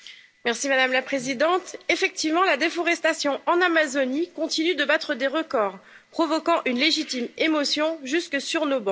Madame la Présidente, effectivement, la déforestation en Amazonie continue de battre des records, provoquant une légitime émotion jusque sur nos bancs.